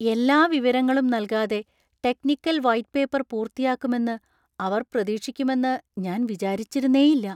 എല്ലാ വിവരങ്ങളും നൽകാതെ ടെക്നിക്കൽ വൈറ്റ് പേപ്പർ പൂർത്തിയാക്കുമെന്ന് അവര്‍ പ്രതീക്ഷിക്കുമെന്ന് ഞാൻ വിചാരിച്ചിരുന്നേയില്ല.